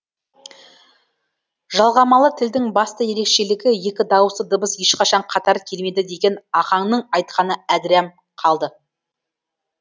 жалғамалы тілдің басты ерекшелігі екі дауысты дыбыс ешқашан қатар келмейді деген ахаңның айтқаны әдірәм қалды